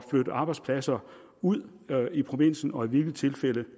flytte arbejdspladser ud i provinsen og i hvilke tilfælde det